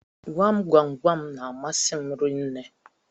Gwam gwam gwam n'amasi m rinne